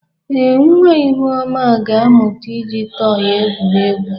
Ee, nwa Ihuoma ga-amụta iji tọị egwuri egwu.